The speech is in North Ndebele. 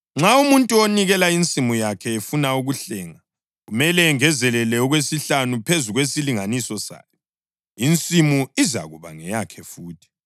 Nxa umuntu onikela insimu yakhe efuna ukuhlenga, kumele engezelele okwesihlanu phezu kwesilinganiso sayo, insimu izakuba ngeyakhe futhi.